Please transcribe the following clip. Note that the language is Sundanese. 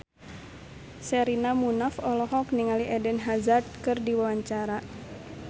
Sherina Munaf olohok ningali Eden Hazard keur diwawancara